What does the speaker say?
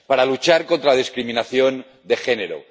para luchar contra la discriminación de género